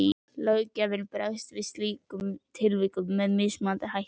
Löggjafinn bregst við slíkum tilvikum með mismunandi hætti.